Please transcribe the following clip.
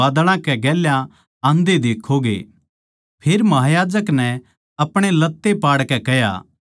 फेर महायाजक नै आपणे लत्ते पाड़कै कह्या इब हमनै गवाह की और के जरूरत सै